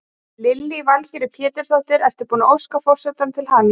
Lillý Valgerður Pétursdóttir: Ert þú búin að óska forsetanum til hamingju?